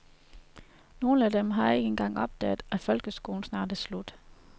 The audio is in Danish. Nogle af dem har ikke engang opdaget, at folkeskolen snart er slut.